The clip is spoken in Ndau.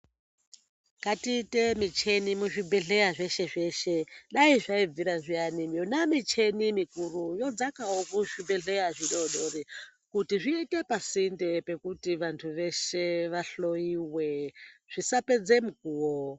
Ngatiite mucheni muzvibhedhlera zveshe zveshe. Dai zvaibvira zviyani yona mucheni mikuru yodzakawo kuzvibhedhlera zvidoodori kuti zviite pasinde pekuti vantu veshe vahloiwe zvisapedze mukuwo.